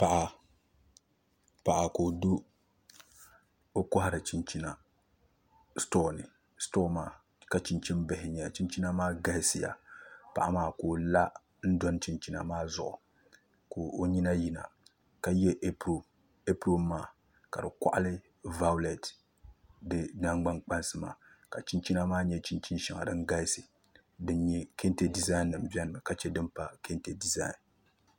Paɣa ka o kohari chinchina stoo ni ka chinchini bihi n nyɛli chinchina maa galisiya paɣa maa ka o la n doni chinchina maa zuɣu ka o nyina yina ka yɛ ɛpron ɛpron maa ka di koɣali vaaulɛt di nangbani kpansi maa ka chinchina maa nyɛ chinchini shɛŋa din galisi din nyɛ kɛntɛ dizain nim biɛni mi ka chɛ din pa kɛntɛ dizain nima